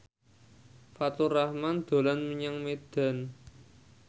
Faturrahman dolan menyang Medan